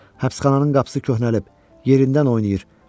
Həbsxananın qapısı köhnəlib, yerindən oynayır.